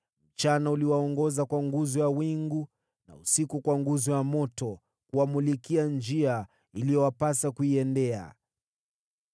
Mchana uliwaongoza kwa nguzo ya wingu, na usiku kwa nguzo ya moto kuwamulikia njia iliyowapasa kuiendea.